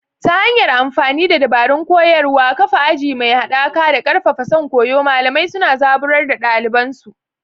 Ta hanyar amfani da dabarun koyarwa, kafa aji mai haɗaka, da ƙarfafa son koyo, malamai suna zaburar da ɗaliban su.